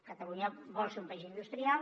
catalunya vol ser un país industrial